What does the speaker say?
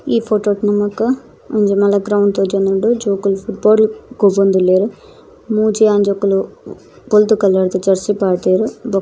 ಈ ಫೊಟೊ ಟು ನಮಕ್ ಒಂಜಿ ಮಲ್ಲ ಗ್ರೌಂಡ್ ತೋಜೊಂದುಂಡು ಜೋಕುಲು ಲಗೋರಿ ಗೊಬ್ಬೊಂದುಲ್ಲೆರ್ ಮೂಜಿ ಆಂಜೋಕುಲು ಬೊಲ್ದು ಕಲರ್ದ ದ ಜೆರ್ಸಿ ಪಾಡ್ದೆರ್ ಬೊಕ್ಕ.